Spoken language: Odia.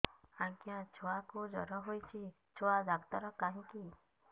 ଆଜ୍ଞା ଛୁଆକୁ ଜର ହେଇଚି ଛୁଆ ଡାକ୍ତର କାହିଁ କି